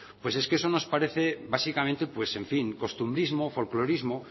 pues es que eso nos parece básicamente pues en fin costumbrismo folclorismo